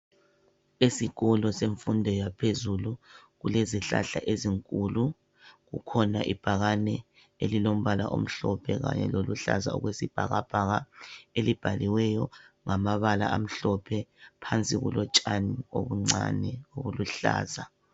Esikolo semfundo yaphezulu, kulezihlahla ezinkulu. Kukhona ibhakane elilombala omhlophe kanye lokuluhlaza okwesibhakabhaka elibhaliweyo ngamabala amhlophe. Phansi kulotshani obuncane obuluhlaza.